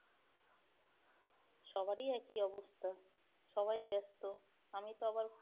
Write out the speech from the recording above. সবারই একই অবস্থা, সবাই ব্যস্ত আমি তো আবার